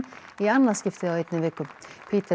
í annað skipti á einni viku